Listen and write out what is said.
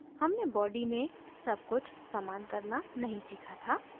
हमने body में सब कुछ समान करना नहीं सीखा था